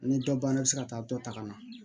Ni dɔ banna i bɛ se ka taa dɔ ta ka na